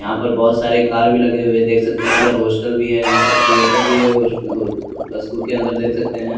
यहाँ पर बहुत सारे कार भी लगे हुए देख सकते हैं उधर हॉस्टल भी है यहाँ पर थ्रीएटर भी है और अ स्कूल के अन्दर देख सकते हैं--